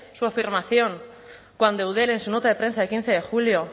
su afirmación cuando eudel en su nota de prensa de quince de julio